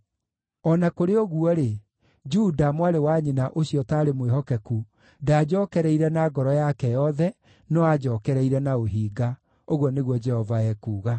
O na kũrĩ ũguo-rĩ, Juda, mwarĩ wa nyina ũcio ũtaarĩ mwĩhokeku, ndaanjookereire na ngoro yake yothe, no aanjookereire na ũhinga,” ũguo nĩguo Jehova ekuuga.